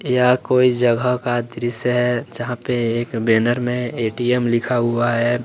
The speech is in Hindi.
यह कोई जगह का दृश्य है जहां पे एक बैनर में ए_टी_एम लिखा हुआ है।